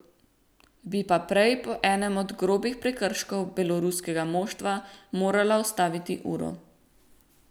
Bi pa prej po enem od grobih prekrškov beloruskega moštva morala ustaviti uro.